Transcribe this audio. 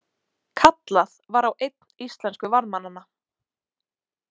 Kallað var á einn íslensku varðmannanna.